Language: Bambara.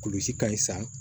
Kolisi ka ɲi san